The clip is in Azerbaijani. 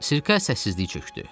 Sirkə səssizlik çökdü.